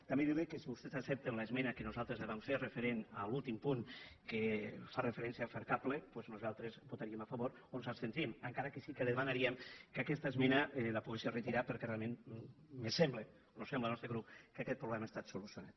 també dir li que si vostès accepten l’esmena que nosaltres li vam fer referent a l’últim punt que fa referència a fercable doncs nosaltres hi votaríem a favor o ens abstindríem encara que sí que li demanaríem que aquesta esmena la pogués retirar perquè realment em sembla nos sembla al nostre grup que aquest problema ha estat solucionat